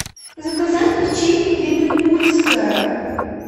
заказать печенье кременкульское